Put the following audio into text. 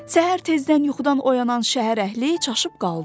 Səhər tezdən yuxudan oyanan şəhər əhli çaşıb qaldı.